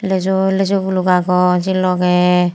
leju lejugulok aagon se loge.